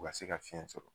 U ka se ka fiɲɛ sɔrɔ